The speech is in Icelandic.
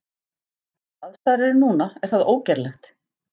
Eins og aðstæður eru núna er það ógerlegt.